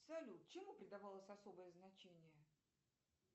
салют чему придавалось особое значение